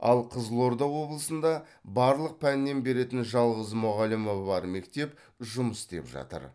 ал қызылорда облысында барлық пәннен беретін жалғыз мұғалімі бар мектеп жұмыс істеп жатыр